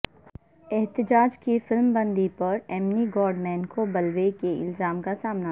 احتجاج کی فلمبندی پر ایمی گوڈمین کو بلوے کے الزام کا سامنا